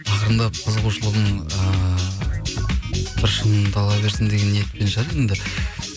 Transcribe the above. ақырындап қызығушылығың ыыы бір шыңдала берсін деген ниетпен шығар енді